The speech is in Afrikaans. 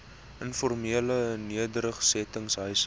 informele nedersetting huise